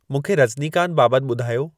मूंखे रजनीकांत बाबति ॿुधायो